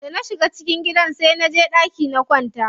Da na shiga cikin gidan sai naje ɗaki na kwanta.